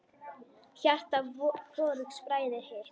Hjarta hvorugs bræðir hitt.